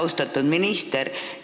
Austatud minister!